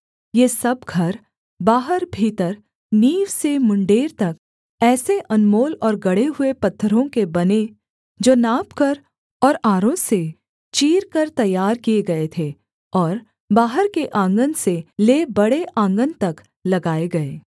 ये सब घर बाहर भीतर नींव से मुंडेर तक ऐसे अनमोल और गढ़े हुए पत्थरों के बने जो नापकर और आरों से चीरकर तैयार किए गए थे और बाहर के आँगन से ले बड़े आँगन तक लगाए गए